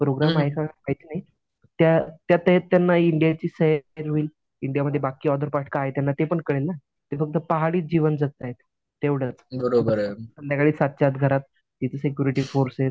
Program आहे का त्या त्या त्यांना इंडियाची सैर होईल इंडियामध्ये बाकी अदर पार्ट काय आहे तर त्यांना ते पण कळेल ना. ते फक्त पहाडीच जीवन जगतायेत. तेव्हडंच संध्याकाळी सातच्या आत घरात किती सिक्युरिटी फोर्सेस.